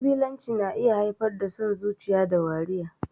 Ƙabilanci na iya haifar da son zuciya da wariya.